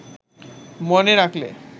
মনে রাখলে